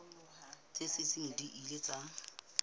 tse seng di ile tsa